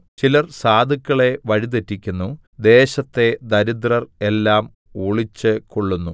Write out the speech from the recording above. ചിലർ സാധുക്കളെ വഴി തെറ്റിക്കുന്നു ദേശത്തെ ദരിദ്രർ എല്ലാം ഒളിച്ചുകൊള്ളുന്നു